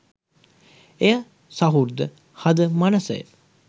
එය සහෘද හද මනස